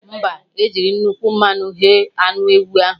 Mba, jiri nnukwu mmanụ ghe anụ ewu ahụ